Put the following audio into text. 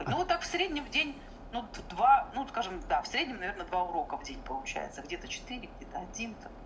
ну так в среднем в день ну два ну скажем да в среднем наверное два урока в день получается где-то четыре где-то один там